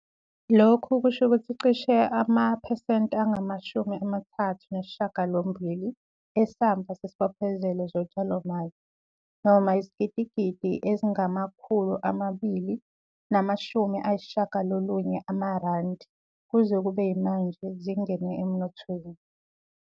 Lokhu kusho ukuthi cishe amaphesenti anga-38 esamba sezibophezelo zotshalomali - noma izigidigidi ezingama-R290 - kuze kube yimanje zingene emnothweni.